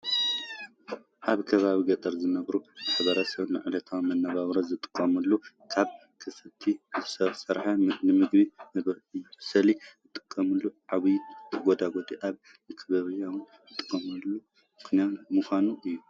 ኣብ ከባቢ ገጠር ዝነብሩ ማሕበረሰብ ንዕለታዊ መነባብሮ ዝጥቀምሉ ካብ ከፍቲ ዝርከብ ንምግቢ መብሰሊ ዝጥቀምሉ ዒባ ተጎድጒዱ ኣብ መካባብያ ዝተጠቅዐ ምዃኑ እዩ።